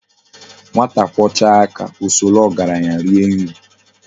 "Nwata kwọchaa aka, o soro ọgaranya rie nri.